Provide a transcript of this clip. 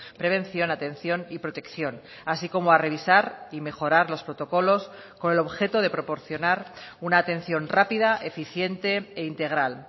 prevención atención y protección así como a revisar y mejorar los protocolos con el objeto de proporcionar una atención rápida eficiente e integral